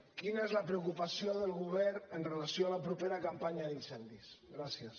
quina és la preocupació del govern amb relació a la propera campanya d’incendis gràcies